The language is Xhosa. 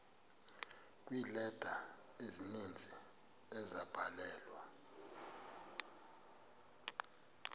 kweeleta ezininzi ezabhalelwa